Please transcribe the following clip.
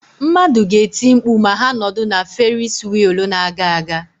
Mmadụ ga-eti mkpu ma ha nọdụ na Ferisi wịịlụ na-aga aga.